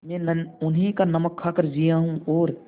मैं उन्हीं का नमक खाकर जिया हूँ और